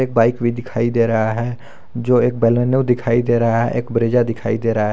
एक बाइक भी दिखाई दे रहा है जो एक बलेनो दिखाई दे रहा है एक ब्रेजा दिखाई दे रहा है।